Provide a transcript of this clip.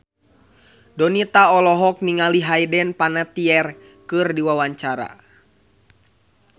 Donita olohok ningali Hayden Panettiere keur diwawancara